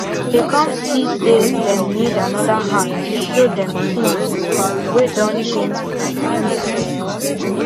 they come see say them need another hand to show them things way Accepted change fr tax system